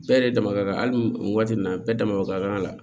Bɛɛ yɛrɛ dama ka kan hali waati min na bɛɛ dama ka kan a la